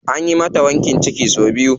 Anyi mata wankin ciki sau biyu.